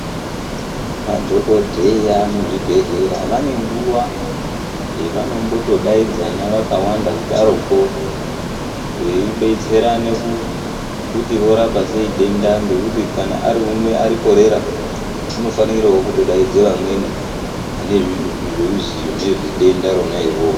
Madhokoteya muzvigwehleya vane nguva yavano tombodaidzana vakawanda kudaro ko veibetserana kuti vorapa sei denda ngekuti kana ariumwe kana arikorera unofanirewo kuto daidze amweni vane zvirozivo nezvedenda irona iroro.